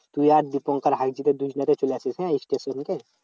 তুই আর দীপঙ্কর চলে আসিস হ্যাঁ স্টেশনকে?